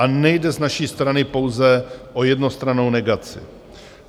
A nejde z naší strany pouze o jednostrannou negaci.